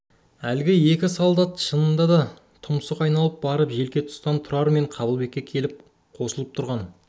әлгі екі солдат шынында да тұмсық айналып барып желке тұстан тұрар мен қабылбекке келіп қосылып тұрған